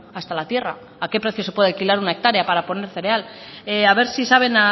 hasta la tierra a qué precio se puede alquilar una hectárea para poner cereal a ver si saben